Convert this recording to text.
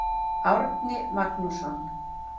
Árni Magnússon.